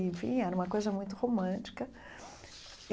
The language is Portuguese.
Enfim, era uma coisa muito romântica.